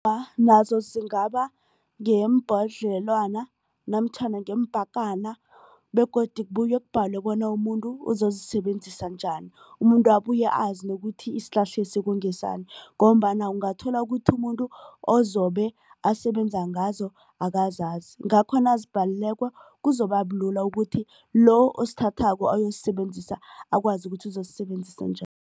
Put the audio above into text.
Nazo zingaba ngeebhodlelwana namtjhana ngeepakana begodu kubuye kubhalwe bona umuntu uzozisebenzisa njani. Umuntu abuye azi nokuthi isihlahlesi ngesani ngombana ungathola ukuthi umuntu ozobe asebenza ngazo akazazi. Ngakho nazibhaliweko kuzobabulula ukuthi lo osithathako uyoyisebenzisa akwazi ukuthi uzozisebenzisa